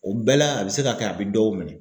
O bɛɛ la a bɛ se ka kɛ a bɛ dɔw minɛ